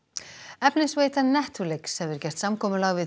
efnisveitan Netflix hefur gert samkomulag við